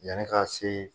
Yanni ka se